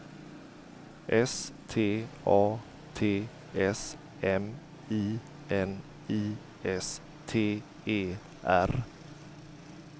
S T A T S M I N I S T E R